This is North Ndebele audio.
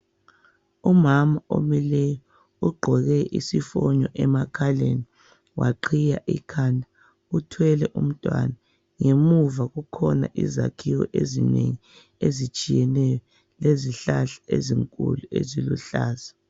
Umama omileyo ugqoke isifonyo emakhaleni waqhiya ikhanda uthwele umntwana. Ngemuva kukhona izakhiwo ezinengi ezitshiyeneyo lezihlahla ezinkulu eziluhlaza.